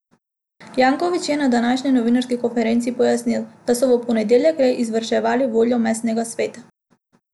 Janković je na današnji novinarski konferenci pojasnil, da so v ponedeljek le izvrševali voljo mestnega sveta.